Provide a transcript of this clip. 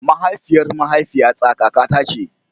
Mahaifiyar mahaifiyata kakata ce.